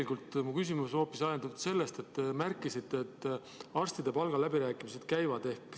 Aga mu küsimus on tegelikult ajendatud sellest, et te märkisite, et arstide palgaläbirääkimised käivad.